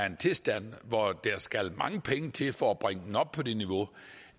en tilstand hvor der skal mange penge til for at bringe den op på det niveau